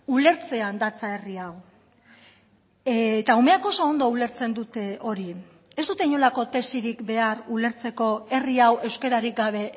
ulertzean datza herri hau eta umeak oso ondo ulertzen dute hori ez dute inolako tesirik behar ulertzeko herri hau euskararik gabe